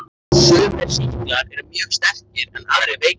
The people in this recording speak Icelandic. Sumir sýklar eru mjög sterkir en aðrir veikir.